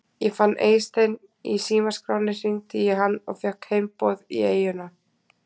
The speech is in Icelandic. Ég fann Eystein í símaskránni, hringdi í hann og fékk heimboð í eyjuna.